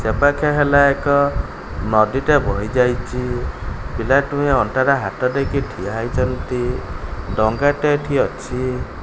ଏପାଖେ ହେଲା ଏକ ନଦୀଟେ ବହି ଯାଇଚି ପିଲା ଦୁହେଁ ଅଣ୍ଟାରେ ହାତ ଦେଇକି ଠିଆ ହେଇଚନ୍ତି ଡଙ୍ଗାଟେ ଏଠି ଅଛି।